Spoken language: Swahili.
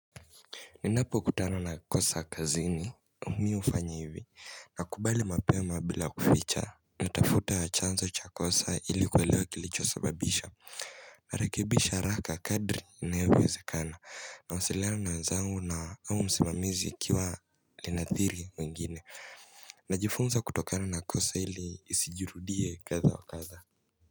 Ninapokutana na kosa kazini mimi hufanya hivi. Nakubali mapema bila kuficha natafuta chanzo cha kosa hili kuwelewa kilicho sababisha Narakebisha haraka kadri inayo wezekana nawasiliana na wanzangu na au msimamizi ikiwa linathiri wengine Najifunza kutokana na kosa hili isijurudie kadhaa wa kadhaa.